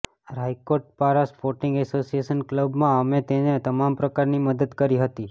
Raikot Para sporting association ક્લબમાં અમે તેને તમામ પ્રકારની મદદ કરી હતી